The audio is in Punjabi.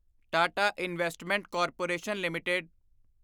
Tata investment corporation limited